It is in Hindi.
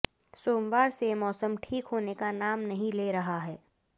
सोमवार से मौसम ठीक होने का नाम नहीं ले रहा है